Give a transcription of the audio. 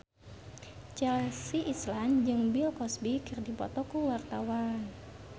Chelsea Islan jeung Bill Cosby keur dipoto ku wartawan